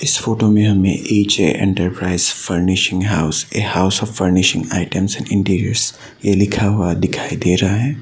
इस फोटो में हमें H A enterprises furnishing house a house of furnishing items and interior लिखा हुआ है।